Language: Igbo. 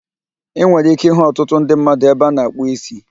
Ị nwere ike ịhụ ọtụtụ ndị mmadụ ebe ana akpụ ísí